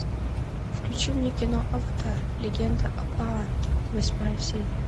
включи мне кино аватар легенда об аанге восьмая серия